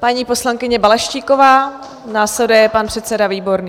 Paní poslankyně Balaštíková, následuje pan předseda Výborný.